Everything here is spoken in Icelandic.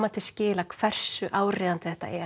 til skila hversu áríðandi þetta er